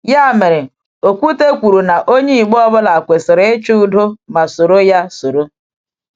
Ya mere, Ọ́kwú́tè kwuru na onye Igbo ọ bụla kwesịrị ‘ịchọ udo ma soro ya soro.’